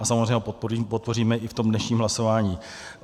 A samozřejmě ho podpoříme i v tom dnešním hlasování.